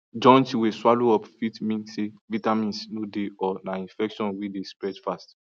joint way swallow up fit mean say vitamins no dey or na infection way dey spread fast